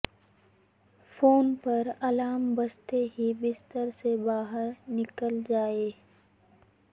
phone پر alarm بجتے ہی بستر سے باہر نکل جائیں